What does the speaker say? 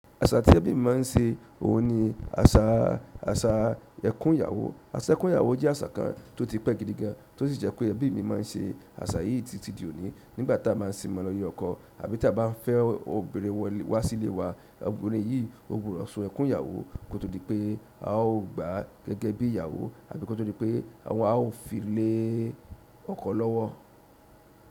Àṣa àtijọ́ temi ma n ṣe, òun ni àṣa ẹkún ìyàwó. Àṣa ẹkún ìyàwó jẹ́ àṣa kan tó ti pẹ́ gidi gan, tó sì jẹ́ pé ẹbi mi ma n ṣe àṣa yìí títí di òní. Nígbà tí a ma n sin mọ́ lo ile ọkọ, àbí tí a bá n fẹ́ obìnrin wọlé wá sílé wa, obìnrin yìí ó gbudo sun ẹkún ìyàwó kó tó di pé a ó gbaá gẹ́gẹ́ bí ìyàwó àbí kó tó di pé a ó fi lé ọkọ lọ́wọ́.